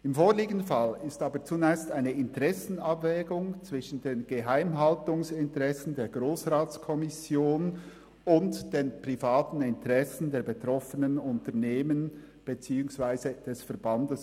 Im vorliegenden Fall ist aber zunächst eine Interessenabwägung vorzunehmen zwischen den Geheimhaltungsinteressen der Grossratskommission und den privaten Interessen der betroffenen Unternehmen beziehungsweise des Verbands.